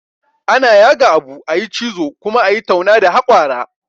Ana yaga abu, a yi cizo, kuma a yi tauna da hakwara